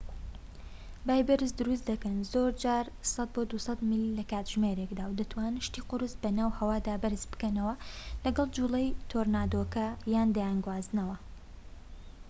بای بەرز دروست دەکەن زۆرجار 100-200 میل/کاتژمێر و دەتوانن شتی قورس بۆ ناو هەوان بەرز بکەنەوە، لەگەڵ جووڵەی تۆرنادۆکە دەیانگوازنەوە